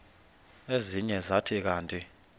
ezinye zathi kanti